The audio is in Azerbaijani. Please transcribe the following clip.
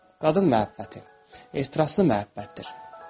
Qadın məhəbbəti ehtiraslı məhəbbətdir.